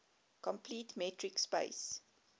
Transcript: complete metric space